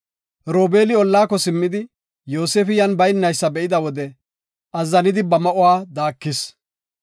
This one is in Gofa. Robeeli ollaako simmidi, Yoosefi yan baynaysa be7ida wode, azzanidi ba ma7uwa daakis.